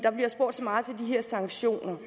her sanktioner